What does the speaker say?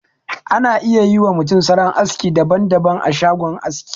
Ana iya yi wa mutum salon aski daban daban a shagon aski.